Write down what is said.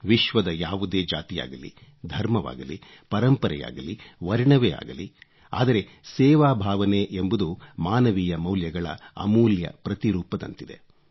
ವಿಶ್ವದ ಯಾವುದೇ ಜಾತಿಯಾಗಲಿ ಧರ್ಮವಾಗಲಿ ಪರಂಪರೆಯಾಗಲಿ ವರ್ಣವೇ ಆಗಲಿ ಆದರೆ ಸೇವಾಭಾವನೆ ಎಂಬುದು ಮಾನವೀಯ ಮೌಲ್ಯಗಳ ಅಮೂಲ್ಯ ಪ್ರತಿರೂಪದಂತಿದೆ